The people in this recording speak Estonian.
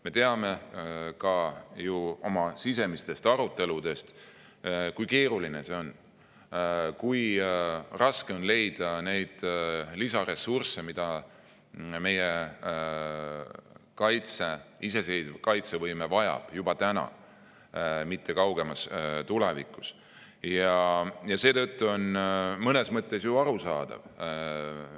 Me teame ju oma sisemiste arutelude põhjal, kui keeruline see on: väga raske on leida lisaressursse, mida meie iseseisev kaitsevõime vajab juba täna, mitte kaugemas tulevikus, ja seetõttu on see mõnes mõttes ju arusaadav.